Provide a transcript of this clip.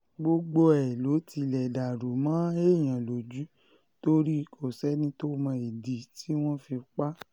gbogbo ẹ̀ ló tilẹ̀ dàrú mọ́ èèyàn lójú torí kò sẹ́ni tó mọ ìdí tí wọ́n fi pa á